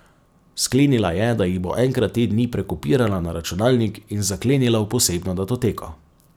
Sklenila je, da jih bo enkrat te dni prekopirala na računalnik in zaklenila v posebno datoteko.